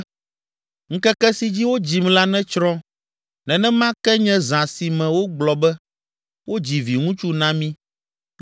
“Ŋkeke si dzi wodzim la netsrɔ̃, nenema ke nye zã si me wogblɔ be, ‘Wodzi viŋutsu na mí!’